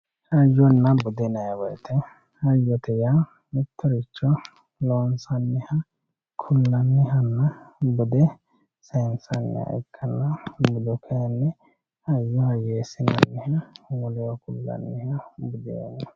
Hayyonna bude yinanni woyte, hayyote yaa mittoricho loonsaniha ku'lanihanna bade saysaniha ikkanna kayinni hayyo hayyeesine hee'ne woleho ku'lanihu budu no.